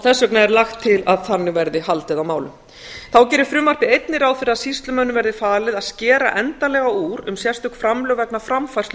vegna er lagt til að þannig verði haldið á málum þá gerir frumvarpið einnig ráð fyrir að sýslumönnum verði falið að skera endanlega úr um sérstök framlög vegna framfærslu